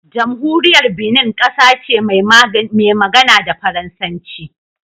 Jamhuriyar Benin kasa ce mai magana da Faransanci